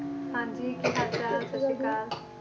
ਹਾਂਜੀ ਕੀ ਹਾਲ ਚਾਲ ਸਤਿ ਸ਼੍ਰੀ ਅਕਾਲ